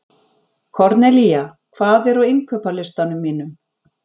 Kornelía, hvað er á innkaupalistanum mínum?